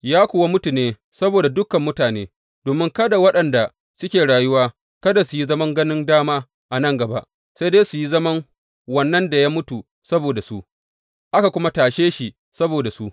Ya kuwa mutu ne saboda dukan mutane, domin kada waɗanda suke rayuwa kada su yi zaman ganin dama a nan gaba, sai dai su yi zaman wannan da ya mutu saboda su, aka kuma tashe shi saboda su.